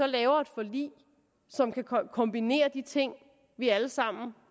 laver et forlig som kan kombinere de ting vi alle sammen